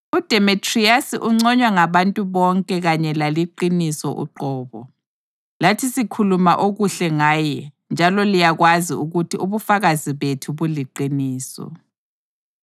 UDemetriyasi unconywa ngabantu bonke kanye laliqiniso uqobo. Lathi sikhuluma okuhle ngaye njalo liyakwazi ukuthi ubufakazi bethu buliqiniso.